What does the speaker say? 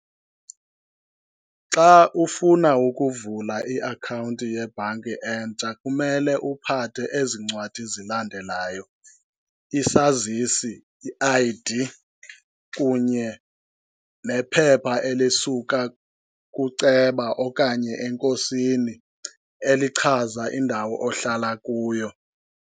Xa ufuna ukuvula iakhawunti yebhanki entsha kumele uphathe ezi ncwadi zilandelayo, isazisi, i-I_D, kunye nephepha elisuka kuceba okanye enkosini elichaza indawo ohlala kuyo.